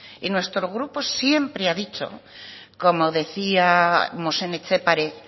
y nuestro grupo siempre ha dicho como decíamos en etxepare